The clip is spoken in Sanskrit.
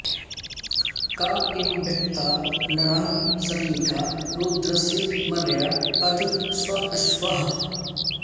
क ईं व्यक्ता नरः सनीळा रुद्रस्य मर्या अध स्वश्वाः